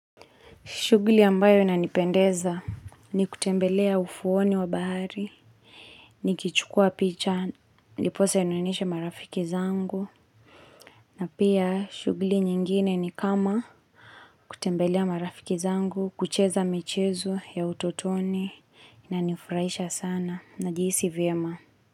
Shuguli ambayo inanipendeza ni kutembelea ufuoni wa bahari nikichukua picha, ndiposa nioneshe marafiki zangu na pia shuguli nyingine ni kama kutembelea marafiki zangu, kucheza mechezo ya utotoni inanifurahisha sana najihisi vyema.